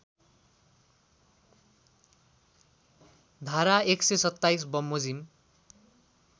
धारा १२७ बमोजिम